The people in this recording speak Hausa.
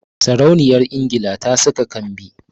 Sarauniyar Ingila ta saka kambi